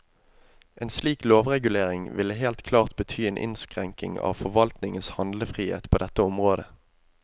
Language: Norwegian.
En slik lovregulering ville helt klart bety en innskrenking av forvaltningens handlefrihet på dette området.